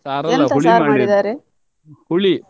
Sir ಅಲ್ಲ ಹುಳಿ ಮಾಡಿದ್ ಹುಳಿ.